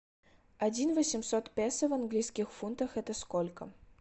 один восемьсот песо в английских фунтах это сколько